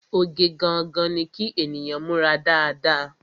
Oge gangan ni kí ènìyàn múra dáadáa